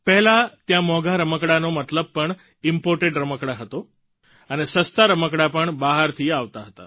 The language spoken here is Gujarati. પહેલાં ત્યાં મોંઘા રમકડાંનો મતલબ પણ ઇમ્પોર્ટેડ રમકડાં થતો હતો અને સસ્તા રમકડાં પણ બહારથી આવતા હતા